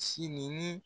Sini ni